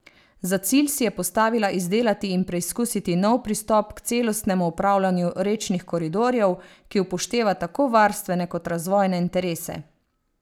Za cilj si je postavila izdelati in preizkusiti nov pristop k celostnemu upravljanju rečnih koridorjev, ki upošteva tako varstvene kot razvojne interese.